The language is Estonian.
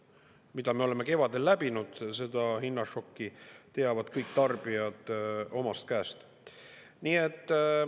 Mida me oleme kevadel läbinud, seda hinnašokki, teavad kõik tarbijad omast käest.